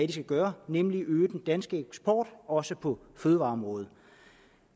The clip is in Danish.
de skal gøre nemlig øge den danske eksport også på fødevareområdet